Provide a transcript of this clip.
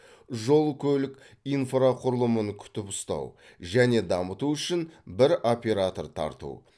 жол көлік инфрақұрылымын күтіп ұстау және дамыту үшін бір оператор тарту